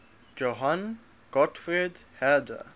johann gottfried herder